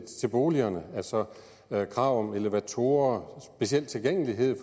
boligerne altså krav om elevatorer speciel tilgængelighed